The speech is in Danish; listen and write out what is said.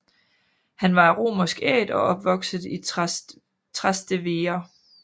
Han var af romersk æt og opvokset i Trastevere